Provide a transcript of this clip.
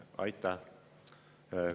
Aitäh!